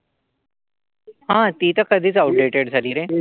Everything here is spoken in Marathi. हा, ती त कधीच आवूटेड झाली रे.